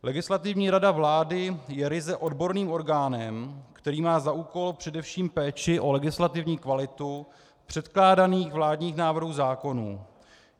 Legislativní rada vlády je ryze odborným orgánem, který má za úkol především péči o legislativní kvalitu předkládaných vládních návrhů zákonů.